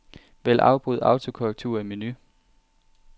Vælg afbryd autokorrektur i menu.